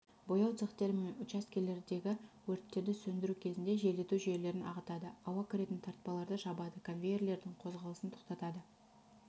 бояу цехтері мен учаскелеріндегі өрттерді сөндіру кезінде желдету жүйелерін ағытады ауа кіретін тартпаларды жабады конвейерлердің қозғалысын тоқтатады